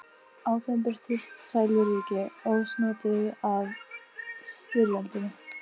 Á þeim birtist sæluríki, ósnortið af styrjöldinni.